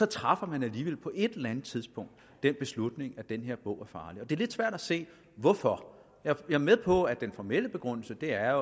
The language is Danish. træffer man alligevel på et eller andet tidspunkt den beslutning at den her bog er farlig det er lidt svært at se hvorfor jeg er med på at den formelle begrundelse er